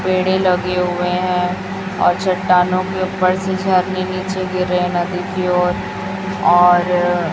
पेड़े लगे हुए है और चट्टानों के ऊपर से झरने नीचे गिर रहे नदी की ओर और --